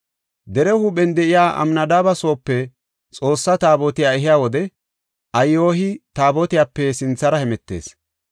Dere huuphen de7iya Amnadaabe soope Xoossa Taabotiya ehiya wode Ahiyoy Taabotiyape sinthara hemetees.